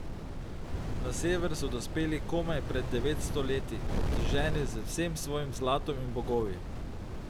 Na sever so dospeli komaj pred devetsto leti, obteženi z vsem svojim zlatom in bogovi.